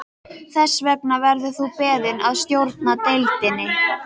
Þess vegna verður þú beðinn að stjórna deildinni